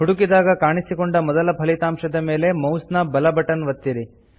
ಹುಡುಕಿದಾಗ ಕಾಣಿಸಿಕೊಂಡ ಮೊದಲ ಫಲಿತಾಂಶದ ಮೇಲೆ ಮೌಸ್ ನ ಬಲ ಬಟನ್ ಒತ್ತಿರಿ